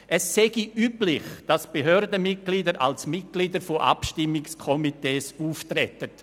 Es sei «üblich», dass Behördenmitglieder als Mitglieder von Abstimmungskomitees aufträten.